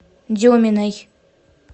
деминой